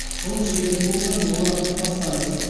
шылым шегетін болсаңыз оны тастаңыз